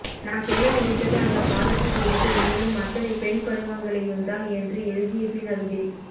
நான் சொல்ல நினைத்தது அந்தப்பாதத்தில் இருந்து நீளும் அத்தனை பெண்படிமங்களையும்தான் என்று எழுதியபின் அறிந்தேன்